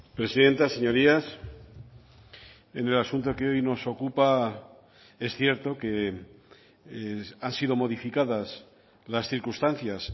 presidenta señorías en el asunto que hoy nos ocupa es cierto que han sido modificadas las circunstancias